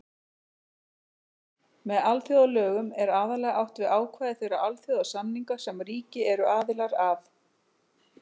Með alþjóðalögum er aðallega átt við ákvæði þeirra alþjóðasamninga sem ríki eru aðilar að.